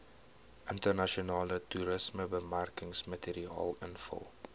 internasionale toerismebemarkingsmateriaal invul